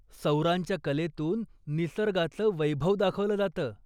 सौरांच्या कलेतून निसर्गाचं वैभव दाखवलं जातं.